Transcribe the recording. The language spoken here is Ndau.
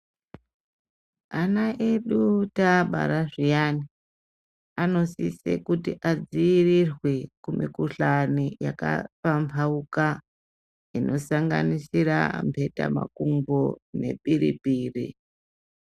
Vana vedu taabara zviyani anosise kuti adziirirwe kumikhuhlani yakapamhauka. Inosanganisira mhetamakumbo nepiripiri.